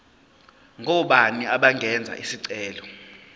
ngobani abangenza isicelo